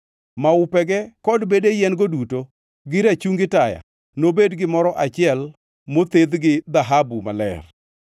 Maupego kod bede yien-go duto gi rachungi taya nobed gimoro achiel mothedh gi dhahabu maler.